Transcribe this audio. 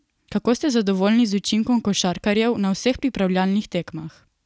Kako ste zadovoljni z učinkom košarkarjev na vseh pripravljalnih tekmah?